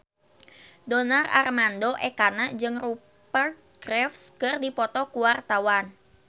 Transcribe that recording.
Donar Armando Ekana jeung Rupert Graves keur dipoto ku wartawan